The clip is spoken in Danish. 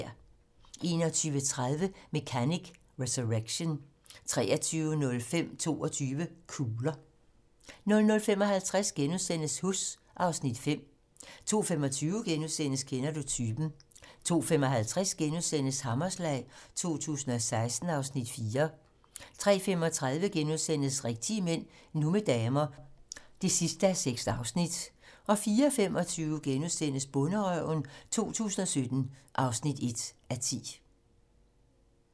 21:30: Mechanic: Resurrection 23:05: 22 kugler 00:55: Huss (Afs. 5)* 02:25: Kender du typen? * 02:55: Hammerslag 2016 (Afs. 4)* 03:35: Rigtige mænd - nu med damer (6:6)* 04:25: Bonderøven 2017 (1:10)*